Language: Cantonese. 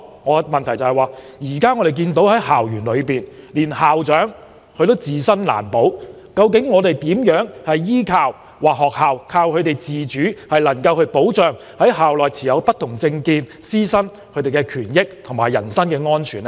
我的補充質詢是，我們看到，在校園內連校長也自身難保，院校如何依靠自主來保障校內持不同政見的師生的權益和人身安全？